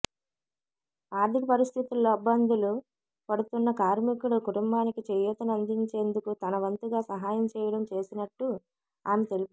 ఆర్థిక పరిస్థితిల్లో బ్బందులు పడుతున్న కార్మికుడి కుటుంబానికి చేయూతన ందించేం దుకు తనవంతుగా సహయం చేయడం చేసినట్టు ఆమె తెలిపారు